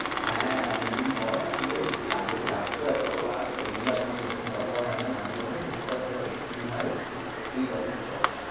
হ্যাঁ, অনেকদিন পর আসলে এই কাজের চাপ তো এতো আর ওই জন্যে এখন সেরকম কথা হয়না, মাঝে মধ্যে টুকটাক যা extreme হয় ঐটুকুনি, তুই বল কি খবর?